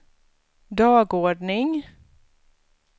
dagordning